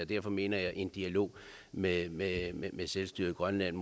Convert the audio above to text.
derfor mener jeg at en dialog med med selvstyret i grønland